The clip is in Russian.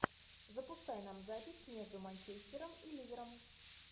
запускай нам запись между манчестером и ливером